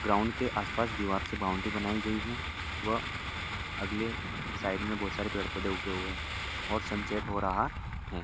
Ground के आस पास दीवार से बाउंड्री बनाई गई है व अगले साइड मे बहुत सारे पेड़ पौधे उगे हुए और सन सेट हो रहा है।